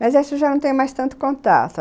Mas a gente já não tem mais tanto contato.